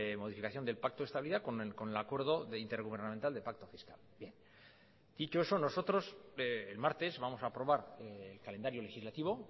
modificación del pacto de estabilidad con el acuerdo intergubernamental del pacto de fiscalidad y que todo eso nosotros el martes vamos a aprobar el calendario legislativo